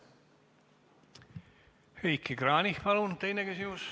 Heiki Kranich, palun, teine küsimus!